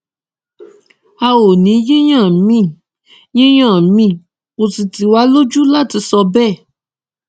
a ò ní yíyàn míín yíyàn míín kó sì tì wá lójú láti sọ bẹẹ